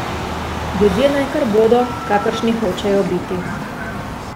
Ljudje naj kar bodo, kakršni hočejo biti.